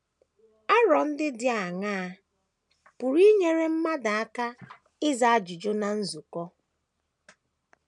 Aro ndị dị aṅaa pụrụ inyere mmadụ aka ịza ajụjụ ná nzukọ?